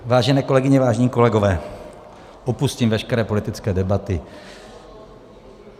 Vážené kolegyně, vážení kolegové, opustím veškeré politické debaty.